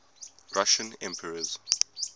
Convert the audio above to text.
russian emperors